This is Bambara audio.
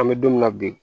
An bɛ don min na bi